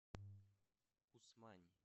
усмани